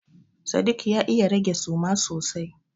Sadik ya iya rage suma sosai.